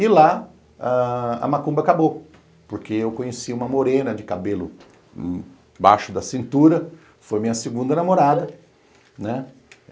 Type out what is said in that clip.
E lá a macumba acabou, porque eu conheci uma morena de cabelo baixo da cintura, foi minha segunda namorada, né